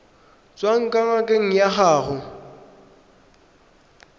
tswang kwa ngakeng ya gago